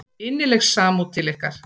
Innileg samúð til ykkar.